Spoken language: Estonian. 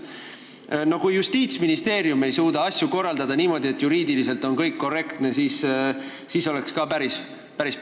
Kui isegi Justiitsministeerium ei suuda asju korraldada niimoodi, et juriidiliselt on kõik korrektne, siis oleks ka päris plass.